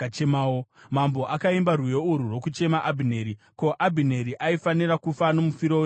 Mambo akaimba rwiyo urwu rwokuchema Abhineri: “Ko, Abhineri aifanira kufa nomufiro webenzi here?